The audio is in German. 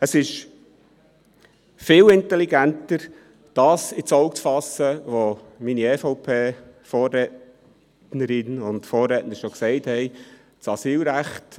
Es ist viel intelligenter, ins Auge zu fassen, was meine EVP-Vorrednerinnen und -redner schon gesagt haben: